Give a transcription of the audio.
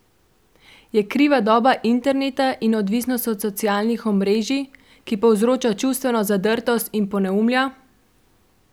Je kriva doba interneta in odvisnost od socialnih omrežij, ki povzroča čustveno zadrtost in poneumlja?